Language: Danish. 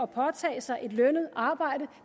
påtage sig et lønnet arbejde